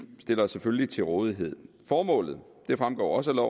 stiller os selvfølgelig til rådighed formålet fremgår også af